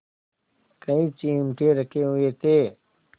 कई चिमटे रखे हुए थे